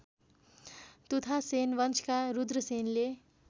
तुथासेन वंशका रुद्रसेनले